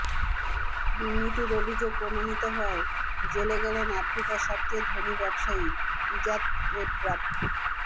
দুর্নীতির অভিযোগ প্রমাণিত হওয়ায় জেলে গেলেন আফ্রিকার সবচেয়ে ধনী ব্যবসায়ী ইজাদ রেব্রাব